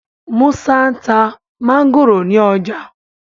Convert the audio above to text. Musa nta Mángòrò ní ọjà